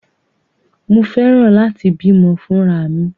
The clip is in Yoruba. Mo fẹ́ràn láti bímọ fúnra mi.